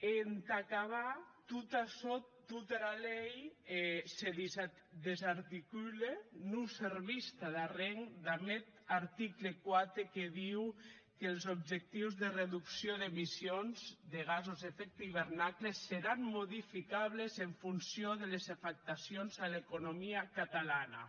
e entà acabar tot açò tota era lei se desarticule non servís tad arren damb eth article quatre que ditz qu els objectius de reducció d’emissions de gasos d’efecte d’hivernacle seran modificables en funció des les afectacions a l’economia catalana